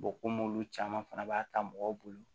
komi olu caman fana b'a ta mɔgɔw bolo